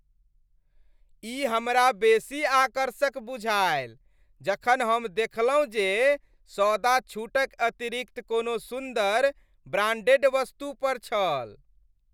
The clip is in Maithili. ई हमरा बेसी आकर्षक बुझायल जखन हम देखलहुँ जे सौदा छूटक अतिरिक्त कोनो सुन्दर, ब्रांडेड वस्तु पर छल।